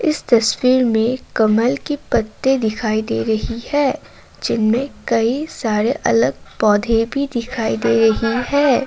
इस तस्वीर में कमल के पत्ते दिखाई दे रही है जिनमें कई सारे अलग पौधे भी दिखाई दे रही है।